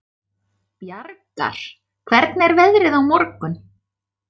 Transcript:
Bjargar, hvernig er veðrið á morgun?